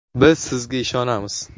Biz sizga ishonamiz!